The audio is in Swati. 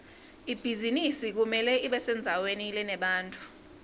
ibhizinisi kumele ibesendzaweni lenebantfu